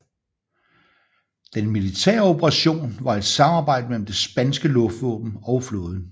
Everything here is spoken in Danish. Den militære operation var et samarbejde mellem det spanske luftvåben og flåden